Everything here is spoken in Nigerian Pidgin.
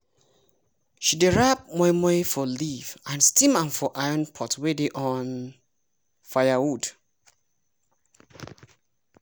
she dey wrap moi moi for leaf and steam am for iron pot wey dey on firewood.